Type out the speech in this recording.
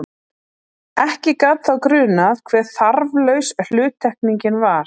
Ekki gat þá grunað hve þarflaus hluttekningin var!